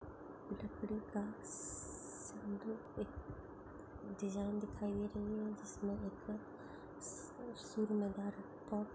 लकड़ी का सेंटर मे डिज़ाइन दिखाई दे रही है जिसमे एक --